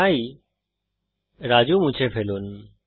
তাই রাজু মুছে ফেলুন